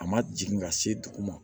A ma jigin ka se dugu ma